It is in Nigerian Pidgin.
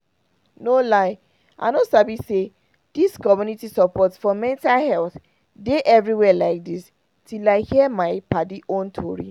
no lie i no sabi say dis community support for mental health dey everywhere like dis till i hear my padi own tori